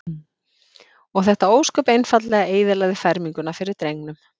Og þetta ósköp einfaldlega eyðilagði ferminguna fyrir drengnum.